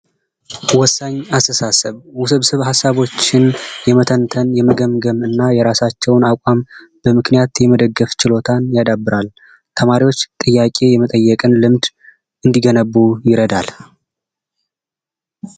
ወሳኝ አስተሳሰብ ውስብስብ ሃሳቦችን የመጠን የመገምገምና የራሳቸውን አቋም በምክንያት ችሎታን ያዳብራል ተማሪዎች ጥያቄ የመጠየቅን ልምድ እንዲገነቡ ይረዳል።